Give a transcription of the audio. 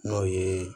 N'o ye